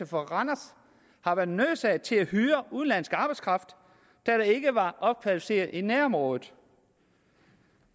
fra randers har været nødsaget til at hyre udenlandsk arbejdskraft da der ikke var opkvalificeret arbejdskraft i nærområdet